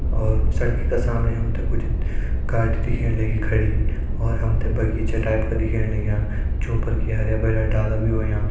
और सड़कि का सामणि हमतें कुछ गाड़ी दिखेण लग्यीं खड़ी और हमतें बगीचा टाइप क दिखेण लग्यां ज्यों पर की हरयां भरयां डाला भी होयां।